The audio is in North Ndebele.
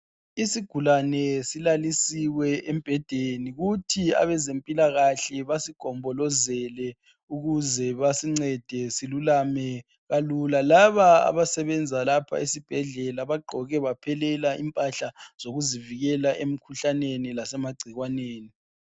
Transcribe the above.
Izigulane zilalusiwe embhedeni kuthi abezempilakahle basigombolozele ukuze basincede silulame kalula. Laba abasebenza lapha esibhedlela bagqoke baphelela impahla zokuzivikela emkhuhlaneni lasemagcikwaneni